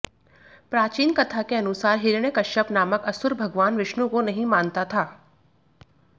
प्राचीन कथा के अनुसार हिरण्यकश्यप नामक असुर भगवान विष्णु को नहीं मानता था